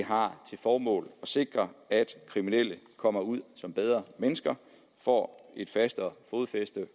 har til formål at sikre at kriminelle kommer ud som bedre mennesker og får et fastere fodfæste